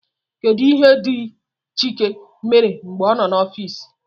Kedu ihe ndị chike mere mgbe ọ nọ n'ọfịs?